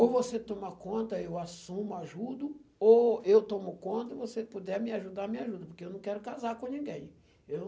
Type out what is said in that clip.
Ou você toma conta, eu assumo, ajudo, ou eu tomo conta e você puder me ajudar, me ajuda, porque eu não quero casar com ninguém. Eu